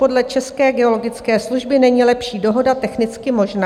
Podle České geologické služby není lepší dohoda technicky možná.